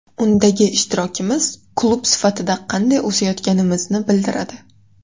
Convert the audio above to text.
Undagi ishtirokimiz klub sifatida qanday o‘sayotganimizni bildiradi.